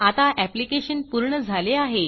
आता ऍप्लिकेशन पूर्ण झाले आहे